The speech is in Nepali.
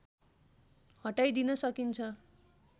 हटाइदिन सकिन्छ